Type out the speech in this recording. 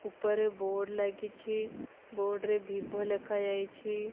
ଉପରେ ବୋର୍ଡ ଲାଗିଛି ବୋର୍ଡ ରେ ଭିଭୋ ଲେଖାଯାଇଛି।